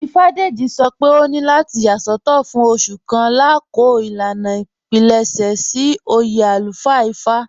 Ífádéjì̀ sọ́ pé òní látì yà sọtọ̀ fún òṣù kàn lákọọ̀ ilànà ìpílẹṣẹ̀ sí oyè alúfáà Ífá"